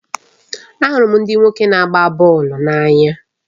Ahụrụ m ndị nwoke na-agba bọọlụ n'anya